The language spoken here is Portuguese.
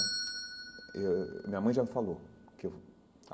Eu ãh minha mãe já me falou que eu.